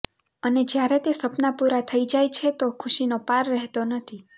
અને જ્યારે તે સપના પુરા થઇ જાય છે તો ખુશીનો પાર રહેતો નથી